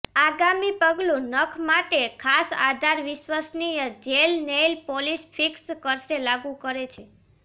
આગામી પગલું નખ માટે ખાસ આધાર વિશ્વસનીય જેલ નેઇલ પોલીશ ફિક્સ કરશે લાગુ કરે છે